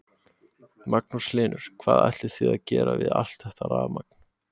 Magnús Hlynur: Hvað ætlið þið að gera við allt þetta rafmagn?